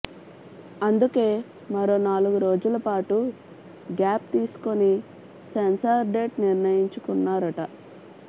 అందుకే మరో నాలుగు రోజుల పాటు గ్యాప్ తీసుకుని సెన్సార్ డేట్ నిర్ణయించుకున్నారట